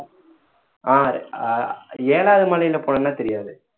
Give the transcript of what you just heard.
ஆஹ் ஏழாவது மலையில போனோம்னா தெரியாது